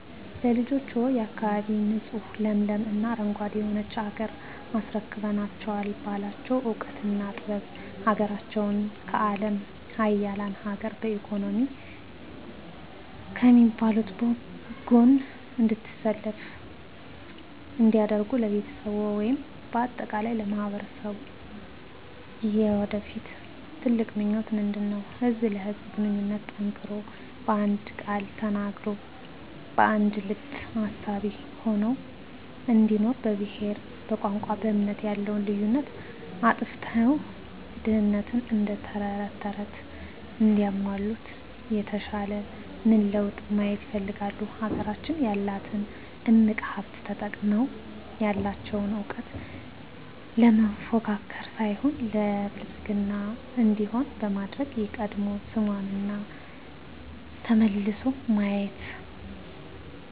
ለልጆችዎ፣ የአካባቢ ንፁህ ለምለም እና አረንጓዴ የሆነች ሀገር አስረክበናቸው ባላቸው እውቀትና ጥበብ ሀገራቸውን ከአለም ሀያላን ሀገር በኢኮኖሚ ከሚባሉት ጎን እንድትሰለፍ እንዲያደርጉ ለቤተሰብዎ ወይም በአጠቃላይ ለማህበረሰብዎ የወደፊት ትልቁ ምኞቶ ምንድነው? ህዝብ ለህዝብ ግንኙነቱ ጠንክሮ በአንድ ቃል ተናጋሪ በአንድ ልብ አሳቢ ሆነው እንዲኖሩ በብሄር በቋንቋ በእምነት ያለውን ልዩነት አጥፍተው ድህነትን እደተረተረት እንዲያለሙት የተሻለ ምን ለውጥ ማየት ይፈልጋሉ? ሀገራችን ያላትን እምቅ ሀብት ተጠቅመው ያለቸውን እውቀት ለመፎካከር ሳይሆን ለብልፅግና እንዲሆን በማድረግ የቀድሞ ስሟና ዝናዋ ተመልሶ ማየት